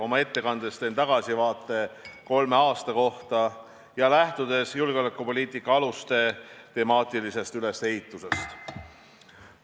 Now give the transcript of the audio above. Oma ettekandes teen tagasivaate kolmele aastale, lähtudes julgeolekupoliitika aluste temaatilisest ülesehitusest.